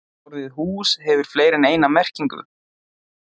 Orðið hús hefur fleiri en eina merkingu.